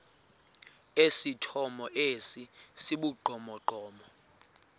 esithomo esi sibugqomogqomo